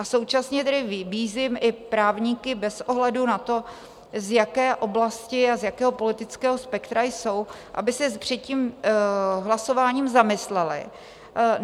A současně tedy vybízím i právníky bez ohledu na to, z jaké oblasti a z jakého politického spektra jsou, aby se před tím hlasováním zamysleli.